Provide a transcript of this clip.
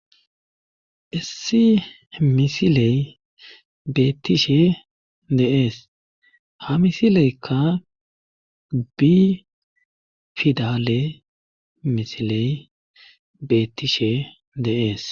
issi misiley beettishe de'ees ha misileykka bi fidale misiley beettishe de'es